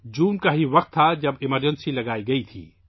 جون کا وہی وقت تھا جب ایمرجنسی لگائی گئی تھی